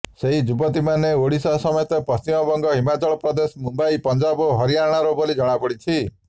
ସେହି ଯୁବତୀମାନେ ଓଡ଼ିଶା ସମେତ ପଶ୍ଚିମବଙ୍ଗ ହିମାଚଳପ୍ରଦେଶ ମୁମ୍ବାଇ ପଞ୍ଜାବ ଓ ହରିଆଣାର ବୋଲି ଜଣାପଡ଼ିଛି